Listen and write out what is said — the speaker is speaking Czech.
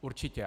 Určitě.